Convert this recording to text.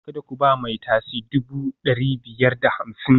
Kada ku ba mai tasi dubu ɗari biyar da hamsin